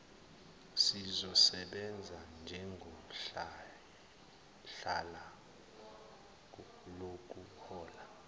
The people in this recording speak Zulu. siyosebenza njengohlala lokuhola